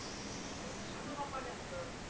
पण तू सांगन बा पानी असत.